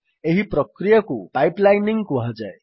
ଏହି ପ୍ରକ୍ରିୟାକୁ ପାଇପଲାଇନିଂ କୁହାଯାଏ